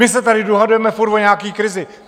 My se tady dohadujeme furt o nějaké krizi.